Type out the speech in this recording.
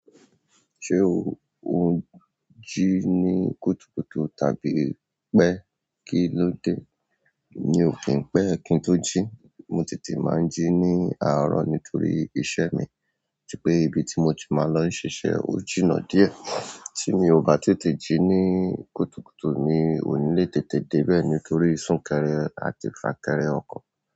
Ṣé o n jí ní kùtùkùtù tàbí pẹ́ kí ló dé? Mi ò kí n pẹ́ kí n tó jí, mo tètè máa ń jí ní àárọ̀ nítorí iṣẹ́ mi, tí pé ibi tí mo ti máa ń lọ ṣiṣẹ́ ò jìnnà díẹ̀. Tí mi ò bá tètè jí ní kùtùkùtù, mi ò ní lè tètè dé bẹ́ẹ̀ nítorí sún kẹrẹ àti fà kẹrẹ ọkọ̀.